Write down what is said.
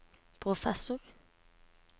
professor